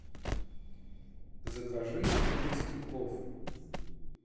закажи узбекский плов